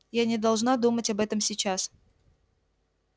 я не должна думать об этом сейчас